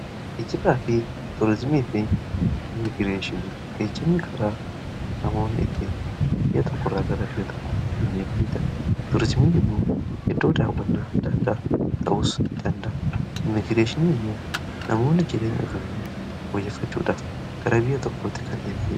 ijibaa fi tuuriizimii fi imiigireeshin geejimni karaa namooni itti iyya tokko irraa gara biyya tokkoo ittiin deemaniidha tuuriizimiin immoo heddoo daawwannaa daadaa ta'us idanda imigreeshin immoo namoonni jireen ofeelii hoojeffachuudha garaa biyya tokkotti kan deemalie